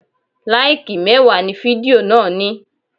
Láìkì mẹ́wàá ni fidió náà ní.